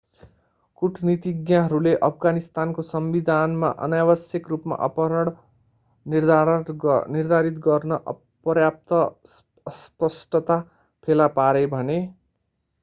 कूटनीतिज्ञहरूले अफगानिस्तानको संविधानमा अनावश्यक रूपमा अपहरण निर्धारित गर्न पर्याप्त अस्पष्टता फेला पारे भने